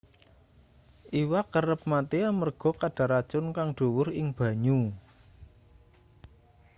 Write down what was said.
iwak kerep mati amarga kadar racun kang dhuwur ing banyu